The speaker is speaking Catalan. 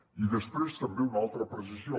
i després també una altra precisió